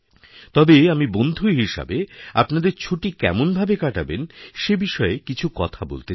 তবে আমি বন্ধু হিসেবে আপনাদের ছুটি কেমনভাবেকাটাবেন সে বিষয়ে কিছু কথা বলতে চাই